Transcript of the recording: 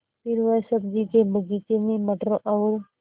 फिर वह सब्ज़ी के बगीचे में मटर और